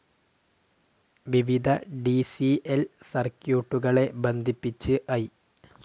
വിവിധ D C ൽ സർക്യൂട്ടുകളെ ബന്ധിപ്പിച്ച് ഐ.